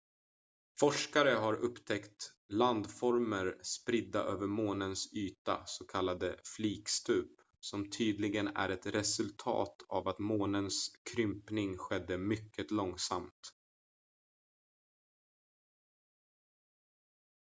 forskare har upptäckt landformer spridda över månens yta s.k. flikstup som tydligen är ett resultat av att månens krympning skedde mycket långsamt